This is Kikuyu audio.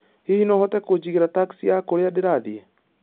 Hihi no ũhote kũnjigĩra taxi ya kũrĩa ndĩrathiĩ